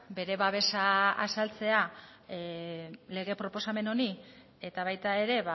bere babesa azaltzea lege proposamen honi eta baita ere